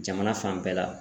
Jamana fan bɛɛ la